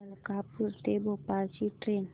मलकापूर ते भोपाळ ची ट्रेन